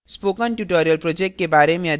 spoken tutorial project के बारे में अधिक जानने के लिए